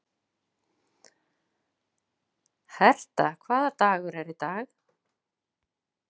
Herta, hvaða dagur er í dag?